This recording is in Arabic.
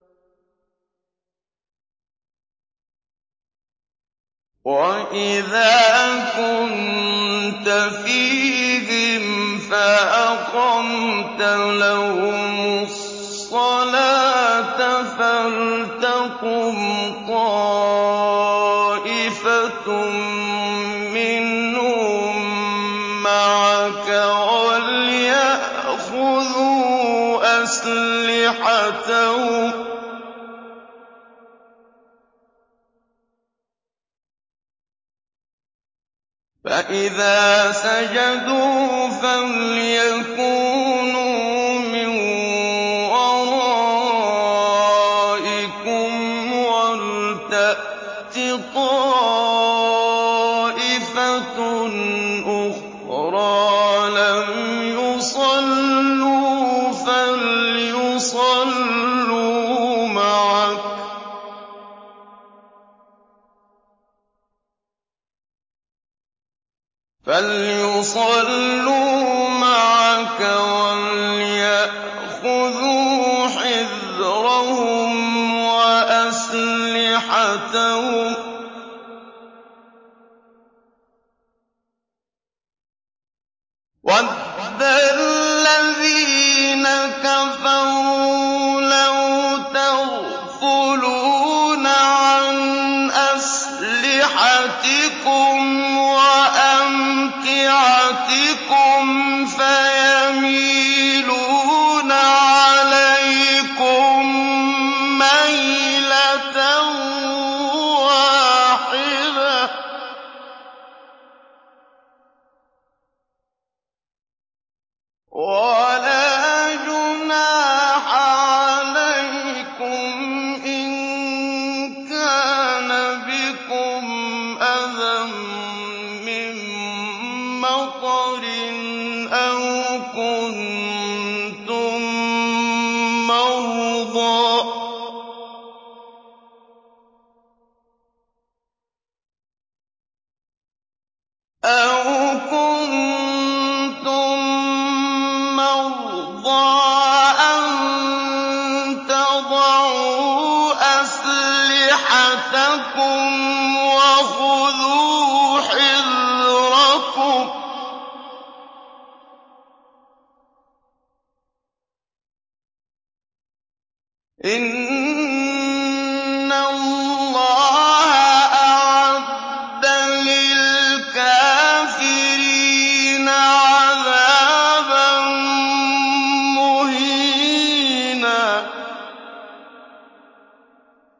وَإِذَا كُنتَ فِيهِمْ فَأَقَمْتَ لَهُمُ الصَّلَاةَ فَلْتَقُمْ طَائِفَةٌ مِّنْهُم مَّعَكَ وَلْيَأْخُذُوا أَسْلِحَتَهُمْ فَإِذَا سَجَدُوا فَلْيَكُونُوا مِن وَرَائِكُمْ وَلْتَأْتِ طَائِفَةٌ أُخْرَىٰ لَمْ يُصَلُّوا فَلْيُصَلُّوا مَعَكَ وَلْيَأْخُذُوا حِذْرَهُمْ وَأَسْلِحَتَهُمْ ۗ وَدَّ الَّذِينَ كَفَرُوا لَوْ تَغْفُلُونَ عَنْ أَسْلِحَتِكُمْ وَأَمْتِعَتِكُمْ فَيَمِيلُونَ عَلَيْكُم مَّيْلَةً وَاحِدَةً ۚ وَلَا جُنَاحَ عَلَيْكُمْ إِن كَانَ بِكُمْ أَذًى مِّن مَّطَرٍ أَوْ كُنتُم مَّرْضَىٰ أَن تَضَعُوا أَسْلِحَتَكُمْ ۖ وَخُذُوا حِذْرَكُمْ ۗ إِنَّ اللَّهَ أَعَدَّ لِلْكَافِرِينَ عَذَابًا مُّهِينًا